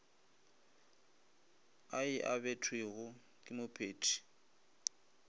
a e abetwego ke mophethii